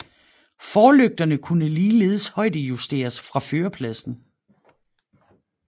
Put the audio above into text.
Forlygterne kunne ligeledes højdejusteres fra førerpladsen